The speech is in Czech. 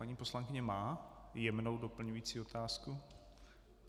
Paní poslankyně má jemnou doplňující otázku?